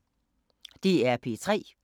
DR P3